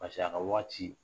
a ka waati